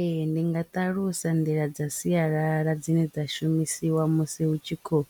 Ee ndi nga ṱalusa nḓila dza sialala dzine dza shumisiwa musi hu tshi khou